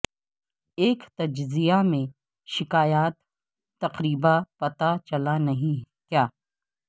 ایک تجزیہ میں شکایات تقریبا پتہ چلا نہیں کیا